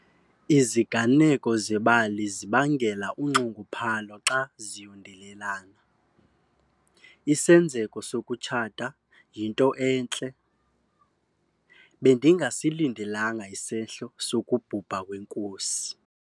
Iziganeko zebali zibangela unxunguphalo zxa ziyondelelana. isenzeko sokutshata yinto entle, bendingasilindelanga isehlo sokubhubha kwenkosi